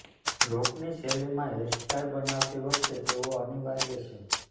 રોકની શૈલીમાં hair style બનાવતી વખતે તેઓ અનિવાર્ય છે